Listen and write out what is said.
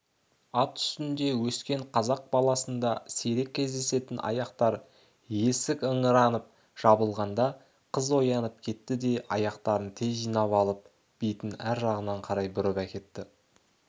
ат үстінде өскен қазақ баласында сирек кездесетін аяқтар есік ыңыранып жабылғанда қыз оянып кетті де аяқтарын тез жинап алып бетін ар жағына қарай бұрып әкетті